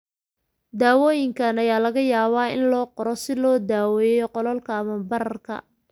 Daawooyinka ayaa laga yaabaa in loo qoro si loo daweeyo qalalka ama bararka.